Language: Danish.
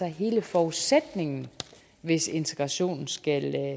hele forudsætningen hvis integrationen skal